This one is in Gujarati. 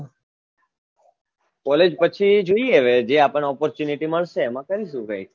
collage પછી જોઈએ હવે જે આપણે opportunity મળશે એમાં કરીશું કઈક